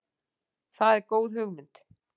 Það er góð hugmynd.